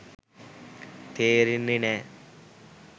තේරෙන්නේ නෑ